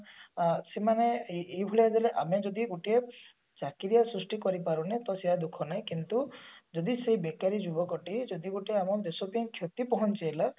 ଅ ସେମାନେ ଏଇଭଳିଆ ଗଲେ ଆମେ ଯଦି ଗୋଟିଏ ଚାକିରିଆ ସୃଷ୍ଟି କରି ପରୁନେ ତ ସେ ଦୁଖଃ ନାଇଁ କିନ୍ତୁ ଯଦି ସେ ବେକାରୀ ଯୁବକ ଟି ଯଦି ଗୋଟେ ଆମ ଦେଶ ପାଇଁ କ୍ଷତି ପହଞ୍ଚାଇଲା